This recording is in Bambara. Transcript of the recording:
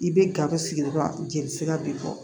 I bɛ gaw sigi dɔrɔn jelisira b'i kɔ